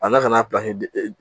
A na ka na